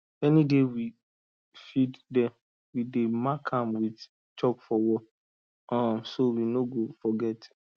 any day we feed dem we dey mark am with chalk for wall um so we no go forget